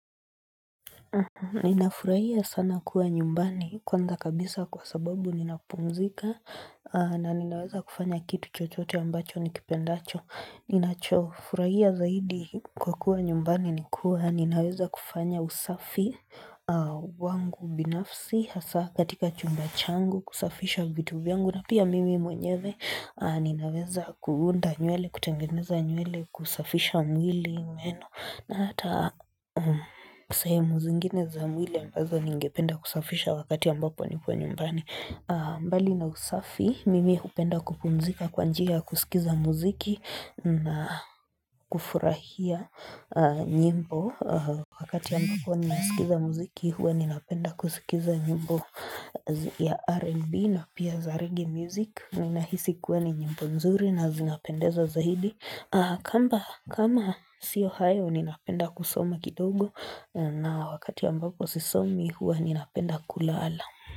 Ninafurahia sana kuwa nyumbani kwanza kabisa kwa sababu ninapumzika na ninaweza kufanya kitu chochote ambacho nikipendacho. Ninachofurahia zaidi kwa kuwa nyumbani ni kuwa ninaweza kufanya usafi wangu binafsi hasa katika chumba changu kusafisha vitu vyangu na pia mimi mwenyeve ninaweza kuunda nywele kutengeneza nywele kusafisha mwili meno. Na hata sehemu zingine za mwili ambazo ningependa kusafisha wakati ambapo nipo nyumbani mbali na usafi, mimi hupenda kupumzika kwa njia kusikiza muziki na kufurahia nyimbo wakati ambapo ninasikiza muziki, huwa ninapenda kusikiza nyimbo ya Rnb na pia za reggae music Ninahisi kuwa ni nyimbo nzuri na zinapendeza zaidi kamba kama si Ohio ninapenda kusoma kidogo na wakati ambapo sisomi huwa ninapenda kulala.